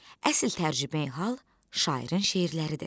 Əsl tərcümeyi-hal şairin şeirləridir.